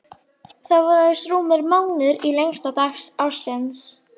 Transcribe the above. Það var aðeins rúmur mánuður í lengsta dag ársins.